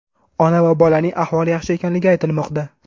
Ona va bolaning ahvoli yaxshi ekanligi aytilmoqda.